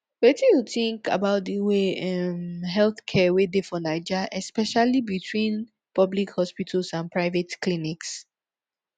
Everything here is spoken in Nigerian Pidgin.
wetin you think about di way um healthcare wey dey for naija especially between public hospitals and private clinics